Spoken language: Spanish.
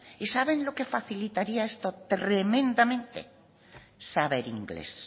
y saben lo que facilitaría esto tremendamente saber inglés